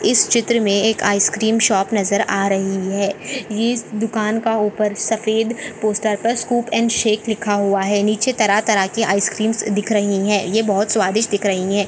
इस चित्र मे एक आइसक्रीम शॉप नजर आ रही है ये दुकान के ऊपर सफ़ेद पोस्टर पर स्कूप अँड शेक लिखा हुआ है नीचे तरह तरह के आइसकीम्स दिख रही है ये बहुत स्वादिस्ट दिख रही है।